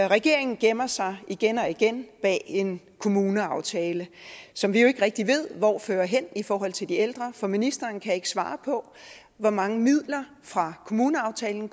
regeringen gemmer sig igen og igen bag en kommuneaftale som vi jo ikke rigtig ved hvor fører hen i forhold til de ældre for ministeren kan ikke svare på hvor mange midler fra kommuneaftalen